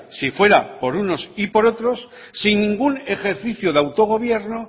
si fuera por unos y por otros sin ningún ejercicio de autogobierno